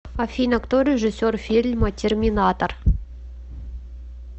афина кто режиссер фильма терминатор